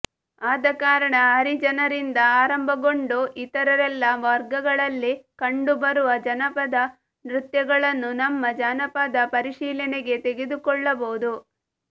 ಆದಕಾರಣ ಹರಿಜನರಿಂದ ಆರಂಭಗೊಂಡು ಇತರೆಲ್ಲ ವರ್ಗಗಳಲ್ಲಿ ಕಂಡುಬರುವ ಜನಪದ ನೃತ್ಯಗಳನ್ನು ನಮ್ಮ ಜಾನಪದ ಪರಿಶೀಲನೆಗೆ ತೆಗೆದುಕೊಳ್ಳಬಹುದು